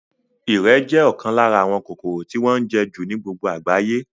Ìrẹ̀ jẹ́ ọ̀kan lára àwọn kòkòrò tí wọ́n ń jẹ́ jù ní gbogbo àgbáyé